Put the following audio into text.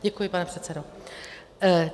Děkuji, pane předsedo.